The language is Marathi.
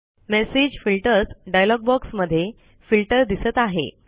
मेसेज फिल्टर्स डायलॉग बॉक्स मध्ये फिल्टर दिसत आहे